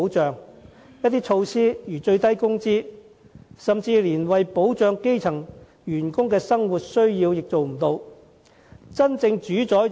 最低工資等措施，有時甚至無法滿足基層員工的生活所需。